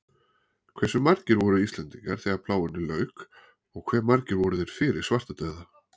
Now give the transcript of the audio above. Hversu margir voru Íslendingar þegar plágunni lauk og hve margir voru þeir fyrir svartadauða?